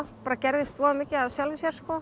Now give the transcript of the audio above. bara gerðist voða mikið af sjálfu sér